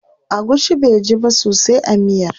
Agushi baiji ba sosai a miyar.